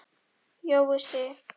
Jói Sig.